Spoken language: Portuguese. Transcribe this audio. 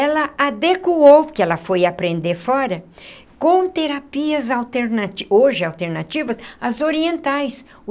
Ela adequou o que ela foi aprender fora com terapias alternati hoje alternativas às orientais.